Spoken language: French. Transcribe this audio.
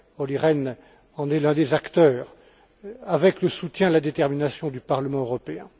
Olli Rehn en est l'un des acteurs avec le soutien et la détermination du Parlement européen.